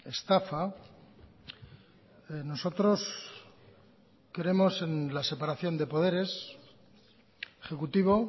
estafa nosotros creemos en la separación de poderes ejecutivo